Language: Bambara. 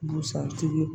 Busan tigi